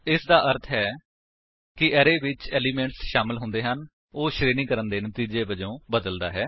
ਇਸਦਾ ਅਰਥ ਹੈ ਕਿ ਅਰੇ ਜਿਸ ਵਿੱਚ ਏਲਿਮੇਂਟਸ ਸ਼ਾਮਲ ਹੁੰਦੇ ਹਨ ਉਹ ਸ਼ਰੇਣੀਕਰਣ ਦੇ ਨਤੀਜੇ ਵਜੋ ਬਦਲਦਾ ਹੈ